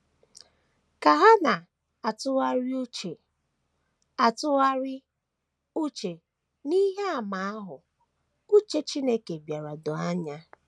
Ka ha na - atụgharị uche - atụgharị uche n’ihe àmà ahụ, uche Chineke bịara doo anya.